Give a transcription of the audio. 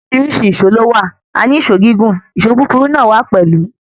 Oríṣìíríṣìí ìṣó lówà.A ní ìṣó gígún, ìṣó kúkúru náà wa pẹlú.